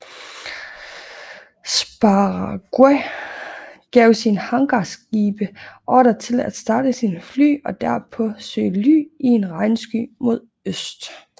Sprague gav sine hangarskibe ordre til at starte sine fly og derpå søge ly i en regnsky mod øst